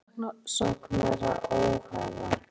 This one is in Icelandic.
Femínistar telja ríkissaksóknara óhæfan